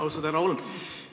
Austatud härra Holm!